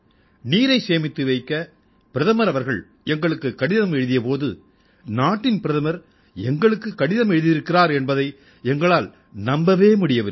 நீரைச் சேமித்து வைக்க பிரதமர் அவர்கள் எங்களுக்குக் கடிதம் எழுதிய போது நாட்டின் பிரதமர் எங்களுக்குக் கடிதம் எழுதியிருக்கிறார் என்பதை எங்களால் நம்பவே முடியவில்லை